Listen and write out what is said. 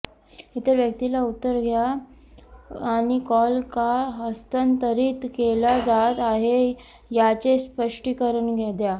इतर व्यक्तीला उत्तर द्या आणि कॉल का हस्तांतरित केला जात आहे याचे स्पष्टीकरण द्या